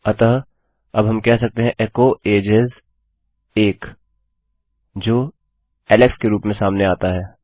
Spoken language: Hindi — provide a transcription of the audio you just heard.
अतः अब हम कह सकते हैं एचो एजेस ओने जो एलेक्स के रूप में सामने आता है